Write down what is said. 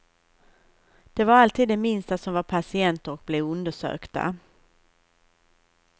Det var alltid de minsta som var patienter och blev undersökta.